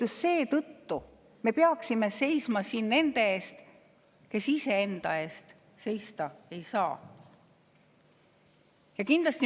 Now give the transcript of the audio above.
Ja just seetõttu me peaksime seisma nende eest, kes ise enda eest seista ei saa.